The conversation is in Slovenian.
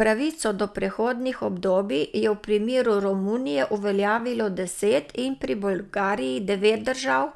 Pravico do prehodnih obdobij je v primeru Romunije uveljavilo deset in pri Bolgariji devet držav,